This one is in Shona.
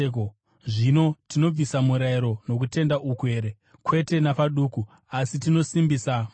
Zvino tinobvisa murayiro nokutenda uku here? Kwete napaduku! Asi, tinosimbisa murayiro.